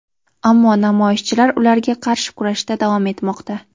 ammo namoyishchilar ularga qarshi kurashda davom etmoqda.